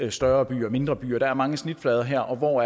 i større byer og mindre byer der er mange snitflader her og hvor